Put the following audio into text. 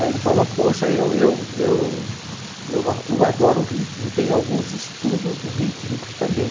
Aí ele falou, poxa, eu eu eu eu a eu adoro ritmo, tenho alguns estudos rítmicos também.